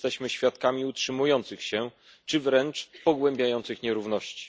Jesteśmy świadkami utrzymujących się, czy wręcz pogłębiających nierówności.